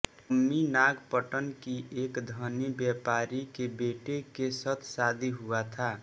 अम्मई नागपटन कि एक धनि व्यापारी के बेटे के सत शादि हुआ था